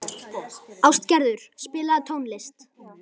Ástgerður, spilaðu tónlist.